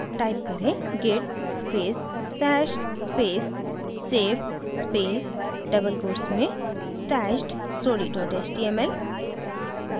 type करें: git space stash space save space double quotes में stashed story html